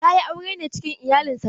Ta yi aure ne cikin iyalin sarauta.